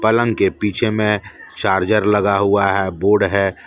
पलंग के पीछे में चार्जर लगा हुआ है बोर्ड है।